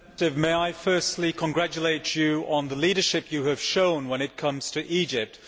Mr President, may I first congratulate you on the leadership you have shown when it comes to Egypt.